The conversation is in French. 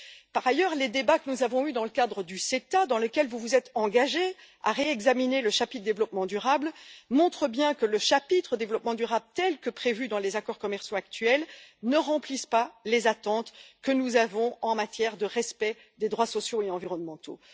Par ailleurs, les débats que nous avons eus dans le cadre du CETA, dans lequel vous vous êtes engagée à réexaminer le chapitre développement durable, montrent bien que ce chapitre, tel que prévu dans les accords commerciaux actuels, ne remplit pas les attentes que nous avons en matière de respect des droits sociaux et environnementaux.